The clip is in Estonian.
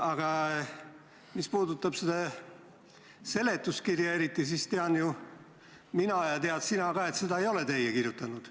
Aga mis puudutab eriti seletuskirja, siis tean mina ja tead sina ka, et seda ei ole teie kirjutanud.